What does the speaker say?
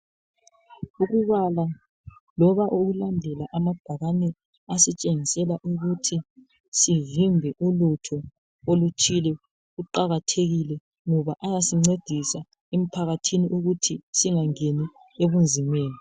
Ukubala loba ukulandela amabhakane asitshengisela ukuthi sivembe ulutho oluthile aqakathekile ngoba ayasincedisa emphakathini ukuthi singangeni ebuzimeni.